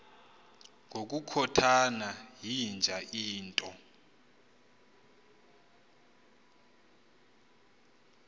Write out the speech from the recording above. ngokukhothana yinja into